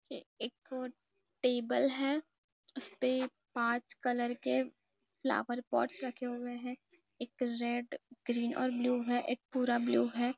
ये एक टेबल है इस पे एक पांच कलर के फ्लावर पॉट्स रखे हुए है एक रेड ग्रीन और ब्लू है एक पूरा ब्लू है।